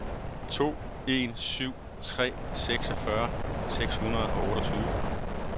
to en syv tre seksogfyrre seks hundrede og otteogtyve